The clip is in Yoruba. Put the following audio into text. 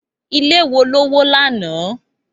Ilé wo ló wó lánàá?